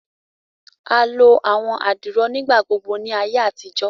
a lo àwọn adiro nigbagbogbo ní ìgbà àtijọ́